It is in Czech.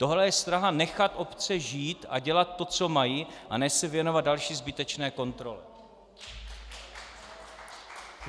Tohle je snaha nechat obce žít a dělat to, co mají, a ne se věnovat další zbytečné kontrole.